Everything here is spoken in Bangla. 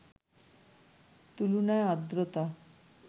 তুলনায় আর্দ্রতা